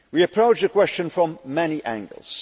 We approached the question from many angles.